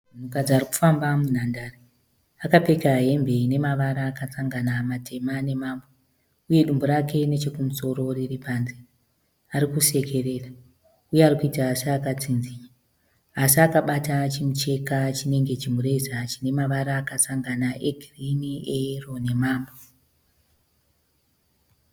Munhukadzi arikufamba munhandare. Akapfeka hembe ine mavara akasangana matema nemamwe. Uye dumbu rake nechekumusoro riri panze. Arikusekerera. Uye arikuita seakatsinzinya. Asi akabata chimucheka chinenge chimureza chine mavara akasangana egirini, eyero nemamwe.